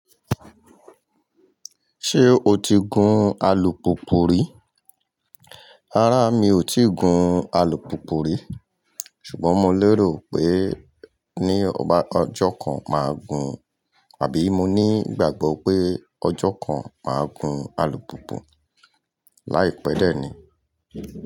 Ṣé o ti gun alùpùpù rí? Rárá mi ò tíì gun alùpùpù rí, ṣùgbọ́n mo lérò pé ní ọjọ́ kan máa gun, àbí mo ní ìgbàgbọ́ pé ọjọ́ kan máa gun alùpùpù láìpẹ́ dẹ̀ ni.